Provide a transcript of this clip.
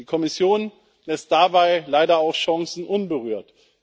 Die Kommission lässt dabei leider auch Chancen unberührt.